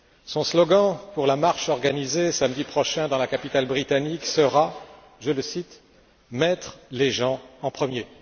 Son slogan pour la marche organisée samedi prochain dans la capitale britannique sera, je le cite mettre les gens en premier.